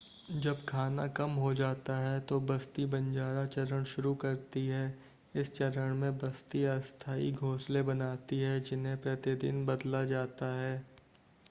जब खाना कम हो जाता है तो बस्ती बंजारा चरण शुरू करती है इस चरण में बस्ती अस्थाई घोंसले बनाती है जिन्हें प्रतिदिन बदला जाता है